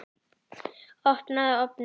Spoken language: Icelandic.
Opnaðu ofninn!